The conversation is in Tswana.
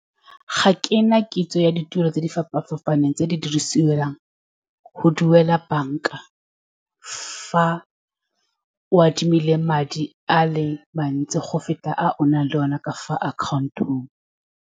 Ga kena kitso ya ditiro tse di fapa-fapaneng, tse di dirisiwang go duela banka, fa o adimile madi a le mantsi go feta a o nang le one ka fa account-ong.